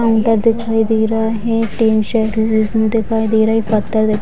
counter दिखाई दे रहा है दिखाई दे रही है पत्थर --